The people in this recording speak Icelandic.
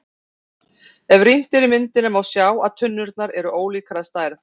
Ef rýnt er í myndina er má sjá að tunnurnar eru ólíkar að stærð.